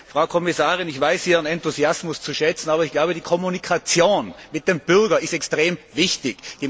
Frau Kommissarin, ich weiß Ihren Enthusiasmus zu schätzen, aber ich glaube, die Kommunikation mit dem Bürger ist extrem wichtig.